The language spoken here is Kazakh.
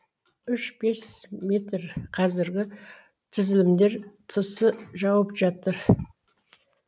үш бес метр қазіргі түзілімдер тысы жауып жатыр